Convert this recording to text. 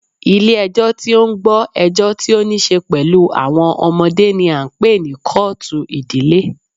Ilé ẹjọ́ tí o ń gbọ́ ẹjọ́ tí o níṣe pẹlú àwọn ọmọdé ní a ń pé ní kọ́ọ̀tù ìdílé.